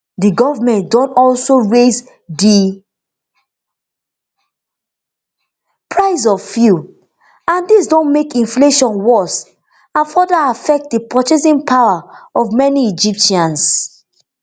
di goment don also raise di price of fuel and dis don make inflation worse and further affect di purchasing power of most egyptians